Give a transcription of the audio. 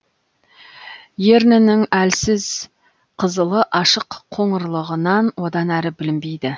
ернінің әлсіз қызылы ашық қоңырлығынан одан әрі білінбейді